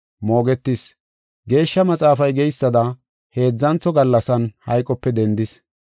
Moogetis; Geeshsha Maxaafay geysada, heedzantho gallasan hayqope dendis.